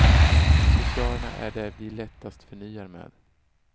Accessoarerna är det vi lättast förnyar med.